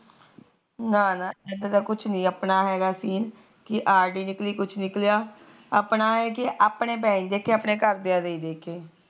ਨਾ ਨਾ ਇਦਾ ਕੁਛ ਨੀ ਆਪਣਾ ਹੈਗੀ ਸੀਨ ਆਰ ਡੀ ਨਿਕਲੀ ਕੁਛ ਨਿਕਲਿਆਂ ਆਪਣਾ ਇਹ ਕਿ ਆਪਣੇ ਪੈਹੇ ਦੇਖੇ ਆਪਣੇ ਘਰ ਦਿਆਂ ਦੇ